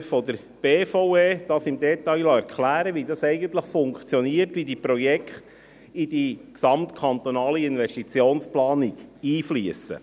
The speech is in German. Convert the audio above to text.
Insbesondere von der BVE hat sie sich im Detail erklären lassen, wie das eigentlich funktioniert, wie diese Projekte in die Gesamtkantonale Investitionsplanung (GKIP) einfliessen.